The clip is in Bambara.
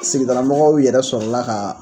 Sigidaramɔgɔw yɛrɛ sɔrɔla k'a